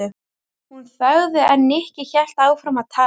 Hún þagði en Nikki hélt áfram að tala.